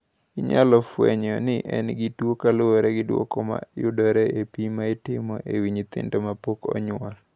"Inyalo fwenyo ni en gi tuwono kaluwore gi duoko ma yudore e pim ma itimo e wi nyithindo ma pok onyuol."